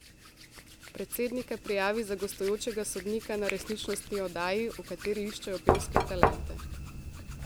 Predsednika prijavi za gostujočega sodnika na resničnostni oddaji, v kateri iščejo pevske talente.